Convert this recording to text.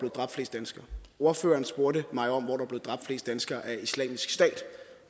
dræbt flest danskere ordføreren spurgte mig om hvor der var blevet dræbt flest danskere af islamisk stat